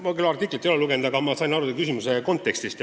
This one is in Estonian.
Ma küll artiklit ei ole lugenud, aga ma sain aru su küsimuse kontekstist.